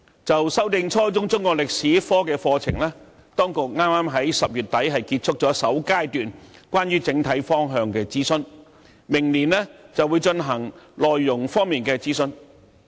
關於修訂初中中國歷史科課程，當局剛於10月底結束首階段的整體方向諮詢，明年再進行內容方面的諮詢。